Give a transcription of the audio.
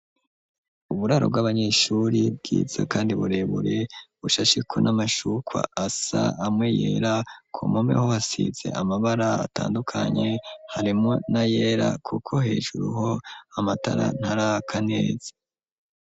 Uburaro bw'abanyeshuri bwiza, kandi burebure bushashikwa n'amashukwa asa amwe yera ku momeho hasize amabara atandukanye harimo na yera, kuko hejuru ho amatara ntari akaneza.